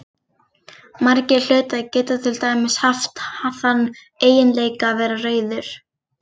Margir hlutir geta til dæmis haft þann eiginleika að vera rauður.